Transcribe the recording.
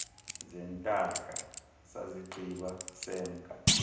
zeentaka sazigqiba semka